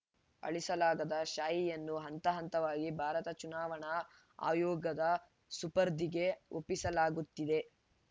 ಅಳಿಸಲಾಗದ ಶಾಯಿಯನ್ನು ಹಂತ ಹಂತವಾಗಿ ಭಾರತ ಚುನಾವಣಾ ಆಯೋಗದ ಸುಪರ್ದಿಗೆ ಒಪ್ಪಿಸಲಾಗುತ್ತಿದೆ